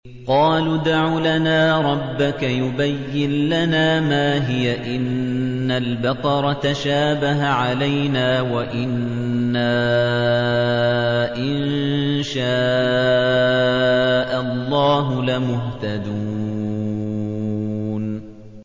قَالُوا ادْعُ لَنَا رَبَّكَ يُبَيِّن لَّنَا مَا هِيَ إِنَّ الْبَقَرَ تَشَابَهَ عَلَيْنَا وَإِنَّا إِن شَاءَ اللَّهُ لَمُهْتَدُونَ